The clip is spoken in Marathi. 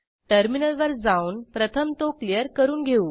टर्मिनलवर जाऊन प्रथम तो क्लियर करून घेऊ